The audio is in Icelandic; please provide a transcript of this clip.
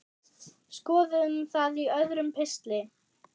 Skoðum það í öðrum pistli.